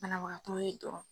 Banabagatɔw ye dɔrɔn.